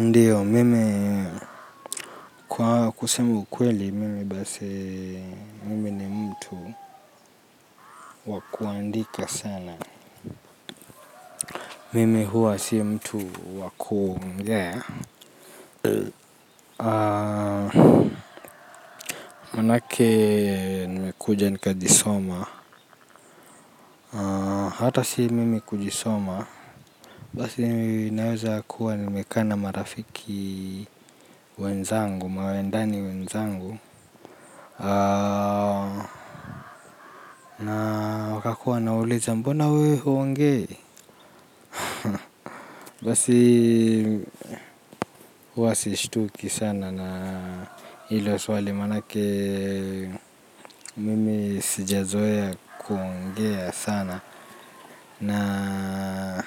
Ndiyo mimi kwa kusema ukweli mimi basi mimi ni mtu wa kuandika sana mimi huwa si mtu wa kuongea maanake nimekuja nikajisoma hata si mimi kujisoma basi naweza kuwa nimekaa na marafiki wenzangu mawendani wenzangu wakakuwa wanauliza mbona wewe huongei basi huwa sishtuki sana na hilo swali maanake mimi sijazoea kuongea sana na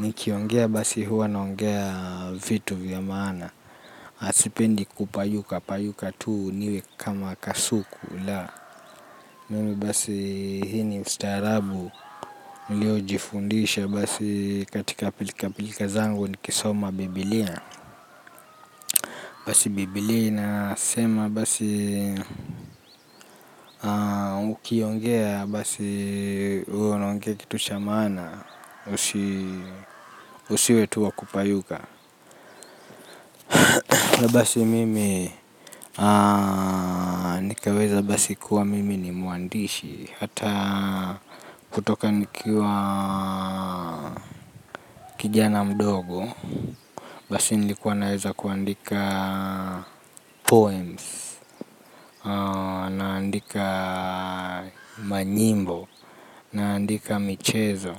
nikiongea basi huwa naongea vitu vya maana sipendi kupayuka payuka tu niwe kama kasuku la mimi basi hii ni ustaarabu niliyojifundisha basi katika pilikapilika zangu nikisoma biblia. Basi biblia inasema basi ukiongea basi uwe unaongea kitu cha maana usiwe tu wa kupayuka. Na basi mimi nikaweza basi kuwa mimi ni mwandishi hata kutoka nikiwa kijana mdogo. Basi nilikuwa naweza kuandika poems naandika manyimbo. Naandika michezo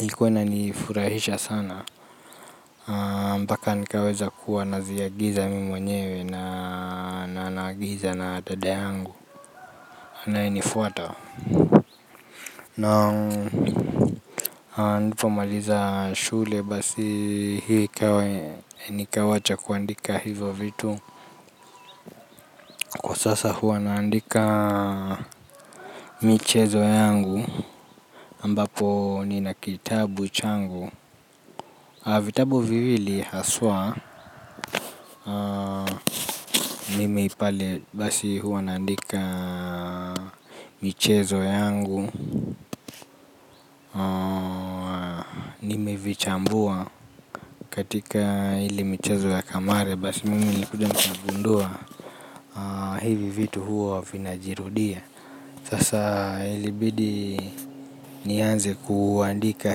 ilikuwa inanifurahisha sana. Mpaka nikaweza kuwa naziagiza mimi mwenyewe na naagiza na dada yangu anayenifuata na nilipomaliza shule basi hii ikawa nikawacha kuandika hivyo vitu kwa sasa huwa naandika michezo yangu ambapo nina kitabu changu vitabu viwili hasa. Mimi pale basi huwa naandika michezo yangu. Mevichambua katika ile michezo ya kamare basi mimi nilikuja nikagundua hivi vitu huwa vinajirudia sasa ilibidi nianze kuandika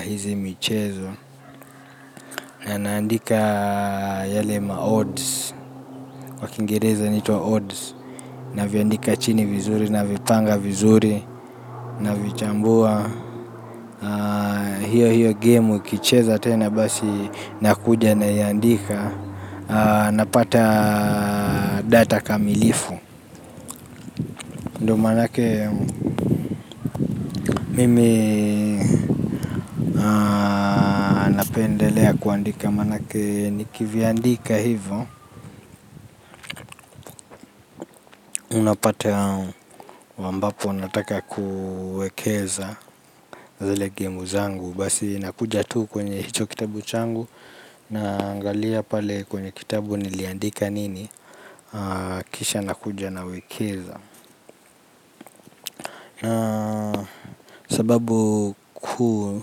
hizi michezo. Na naandika yale ma odds kwa kiingereza inaitwa odds. Naviandika chini vizuri navipanga vizuri navichambua hiyo hiyo gemu ikicheza tena basi nakuja naiandika napata data kamilifu ndiyo maanake mimi napendelea kuandika maanake nikiviandika hivyo unapata ambapo nataka kuwekeza zile gemu zangu basi nakuja tu kwenye hicho kitabu changu naangalia pale kwenye kitabu niliandika nini. Kisha nakuja nawekeza. Sababu kuu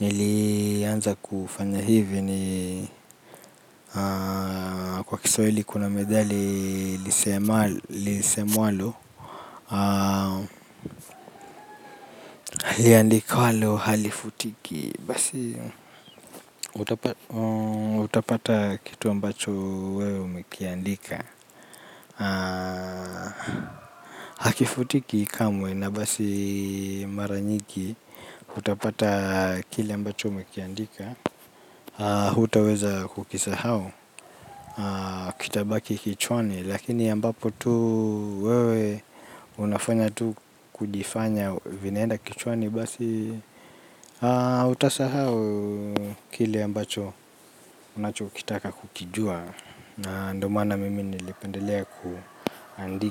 nilianza kufanya hivi ni Kiswahili kuna methali lisemwalo liandikwalo halifutiki basi utapata kitu ambacho wewe umekiandika. Hakifutiki kamwe na basi mara nyingi utapata kile ambacho umekiandika hutaweza kukisahau kitabaki kichwani lakini ambapo tu wewe unafanya tu kujifanya vinaenda kichwani basi. Utasahau kile ambacho unachokitaka kukijua na ndiyo maana mimi nilipendelea kuandika.